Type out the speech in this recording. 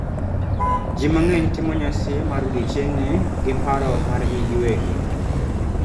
ji mangeny timo nyasi mar odiechieng' ni gi paro margi giwegi